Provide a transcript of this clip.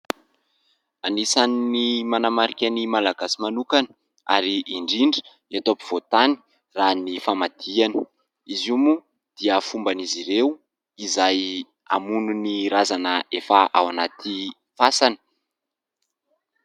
Anisany manamarika ny Malagasy manokana ary indrindra eto ampovoan-tany raha ny famadihana, izy io moa dia fomban'izy ireo iray hamono ny razana efa ao anaty fasana.